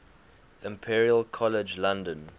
imperial college london